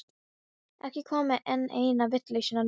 Ekki koma með enn eina vitleysuna núna.